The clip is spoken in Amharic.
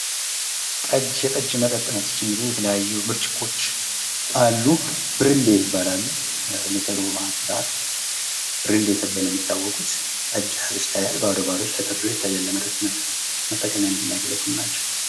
ጠጅ የጠጅ መጠጥ ነች እንግዲህ የተለያዩ ብርጭቆች አሉ ብርሌ ይባላሉ። ብርሌ ተብለው ነው የሚታወቁት ጠጅ የያዘች ሲታያል እንዲሁም ባዶዎች ተደርድረው ይታያሉ ለምጠጥነት የሚያገልግሉ ናቸው።